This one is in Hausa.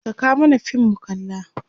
Saka mana fim mu kalla!